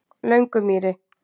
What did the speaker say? Löngumýri